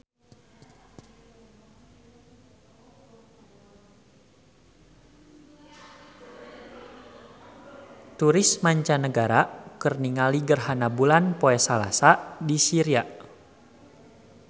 Turis mancanagara keur ningali gerhana bulan poe Salasa di Syria